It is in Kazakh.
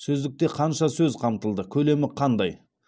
сөздікте қанша сөз қамтылды көлемі қандай